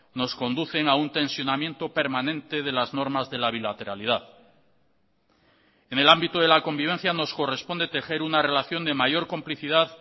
nos conducen a un tensionamiento permanente de las normas de la bilateralidad en el ámbito de la convivencia nos corresponde tejer una relación de mayor complicidad